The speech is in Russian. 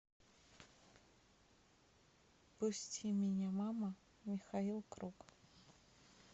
пусти меня мама михаил круг